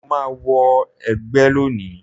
Mo ma wọ ẹgba lóni